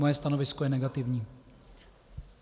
Moje stanovisko je negativní.